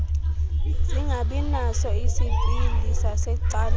singabinaso isipili sasecaleni